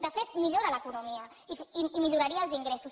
de fet millora l’econo mia i milloraria els ingressos